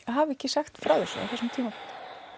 hafa ekki sagt frá þessu á þessum tímapunkti